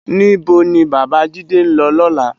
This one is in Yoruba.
Ni bó ni Babajide n lò lòlá?